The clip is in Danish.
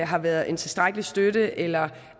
har været en tilstrækkelig støtte eller